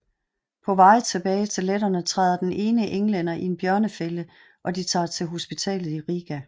På vej tilbage til letterne træder den ene englænder i en bjørnefælde og de tager til hospitalet i Riga